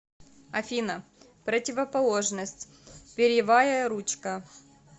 афина противоположность перьевая ручка